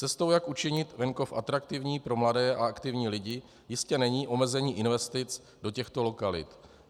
Cestou, jak učinit venkov atraktivní pro mladé a aktivní lidi, jistě není omezení investic do těchto lokalit.